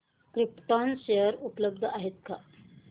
krypton share उपलब्ध आहेत का